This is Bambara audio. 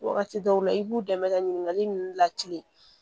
Wagati dɔw la i b'u dɛmɛ ka ɲininkali ninnu latilen